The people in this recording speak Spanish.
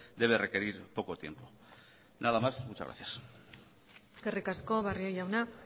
debe requerir poco tiempo nada más muchas gracias eskerrik asko barrio jauna